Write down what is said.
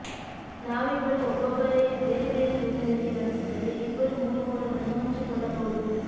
ನಾವಿಬ್ಬರು ಒಬ್ಬೊಬ್ಬರೆ ಬೇರೆ ಬೇರೆ ರೂಮಿನಲ್ಲಿ ನಡೆಸಿದರೆ ಇಬ್ಬರು ಮೂರು ಮೂರನ್ನು ಹಂಚಿಕೊಳ್ಳಬಹುದು